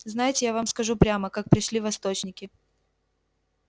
знаете я вам скажу прямо как пришли восточники